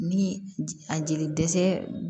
Ni a jeli dɛsɛ